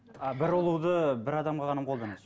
а бір ұлуды бір адамға ғана қолданасыз